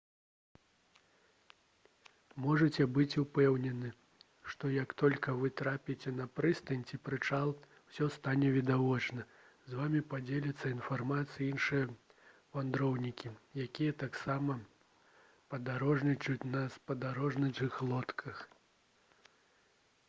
можаце быць упэўнены што як толькі вы трапіце на прыстань ці прычал усё стане відавочна з вамі падзеляцца інфармацыяй іншыя вандроўнікі якія таксама падарожнічаюць на спадарожных лодках